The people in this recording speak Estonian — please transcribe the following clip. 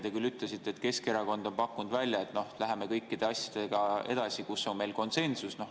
Te küll ütlesite, et Keskerakond on pakkunud välja, et läheme edasi kõikide asjadega, kus on meil konsensus.